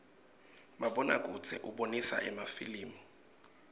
mabona kudze ubonisa emafilimu